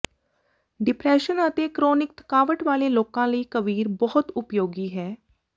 depression ਅਤੇ chronic ਥਕਾਵਟ ਵਾਲੇ ਲੋਕਾਂ ਲਈ ਕਵੀਰ ਬਹੁਤ ਉਪਯੋਗੀ ਹੈ